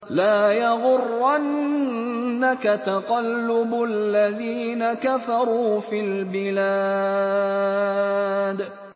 لَا يَغُرَّنَّكَ تَقَلُّبُ الَّذِينَ كَفَرُوا فِي الْبِلَادِ